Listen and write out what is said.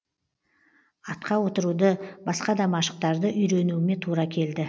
атқа отыруды басқа да машықтарды үйренуіме тура келді